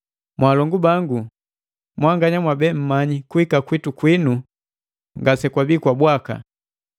Mwaalongu bangu, mwanganya mwabe mmanyi kuhika kwitu kwinu ngase kwabi kwa bwaka.